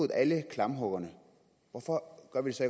alle klamphuggerne hvorfor gør vi så